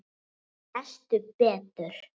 Lestu betur!